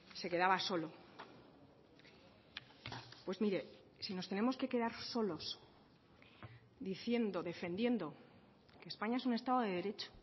se quedaba solo pues mire si nos tenemos que quedar solos diciendo defendiendo que españa es un estado de derecho